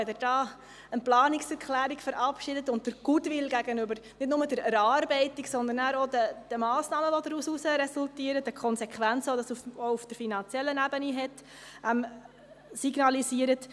Eigentlich ist es sehr richtig, wenn Sie diesbezüglich eine Planungserklärung verabschieden und den Goodwill nicht nur gegenüber der Erarbeitung, sondern auch gegenüber den daraus resultierenden Massnahmen, den Konsequenzen auf der finanziellen Ebene signalisieren.